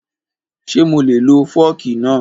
Ṣé mo lè lo fọ́ọ̀kì náà?